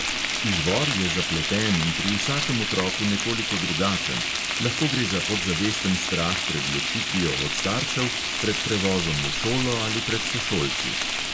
Izvor je zapleten in pri vsakem otroku nekoliko drugačen; lahko gre za podzavesten strah pred ločitvijo od staršev, pred prevozom v šolo ali pred sošolci.